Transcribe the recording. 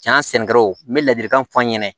Jan sɛnɛkɛlaw n bɛ ladilikan fɔ n ɲɛna